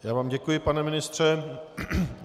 Já vám děkuji, pane ministře.